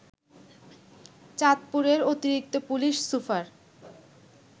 চাঁদপুরের অতিরিক্ত police super